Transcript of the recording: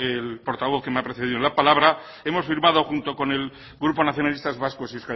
el portavoz que me ha precedido en la palabra hemos firmado junto con el grupo nacionalistas vascos y